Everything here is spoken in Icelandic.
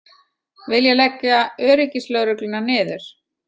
Vilja leggja öryggislögregluna niður